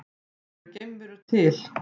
Eru geimverur til?